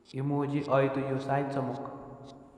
Imuch oitu yu sait somok